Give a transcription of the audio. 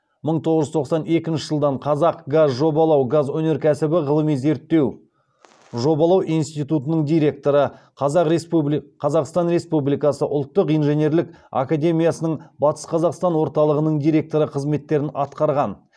мың тоғыз жүз тоқсан екінші жылдан қазақгазжобалау газ өнеркәсібі ғылыми зерттеу жобалау институтының директоры қазақстан республикасы ұлттық инженерлік академиясының батысқазақстандық орталығының директоры қызметтерін атқарған